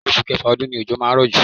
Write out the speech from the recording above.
Oṣù Kẹfà ọdún ni ojo máa ń rọ̀ jù.